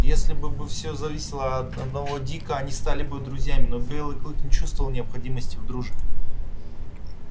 если бы бы всё зависело от одного дика они стали бы друзьями но белый клык не чувствовал необходимости в дружбе